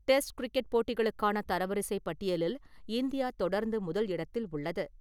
Test cricket போட்டிகளுக்கான தரவரிசை பட்டியலில் இந்தியா தொடர்ந்து முதல் இடத்தில் உள்ளது.